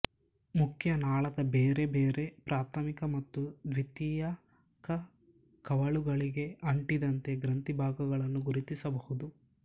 ಮುಖ್ಯ ನಾಳದ ಬೇರೆ ಬೇರೆ ಪ್ರಾಥಮಿಕ ಮತ್ತು ದ್ವಿತೀಯಕ ಕವಲುಗಳಿಗೆ ಅಂಟಿದಂತೆ ಗ್ರಂಥಿಭಾಗಗಳನ್ನು ಗುರುತಿಸಬಹುದು